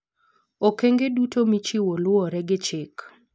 Okenge duto michiwo luwore gi chik.